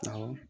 Awɔ